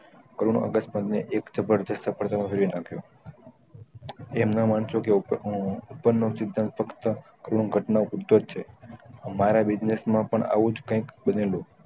એક જબરદસ્ત સફળતા માં ફેરવી નાખ્યો તેમના માણસો ના ઉપર થી હું ઉપર નો સિદ્ધાંત ફક્ત પૂરું ઘટના પુરતો જ છે અમારા business માં પણ આવું કાયિક બનેલું